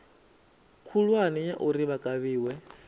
khulwane ya uri vha kavhiwe